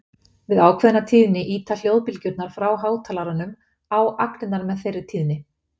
Við ákveðna tíðni ýta hljóðbylgjurnar frá hátalaranum á agnirnar með þeirri tíðni.